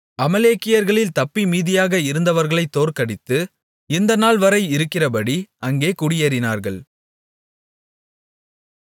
அமலேக்கியர்களில் தப்பி மீதியாக இருந்தவர்களைத் தோற்கடித்து இந்த நாள்வரை இருக்கிறபடி அங்கே குடியேறினார்கள்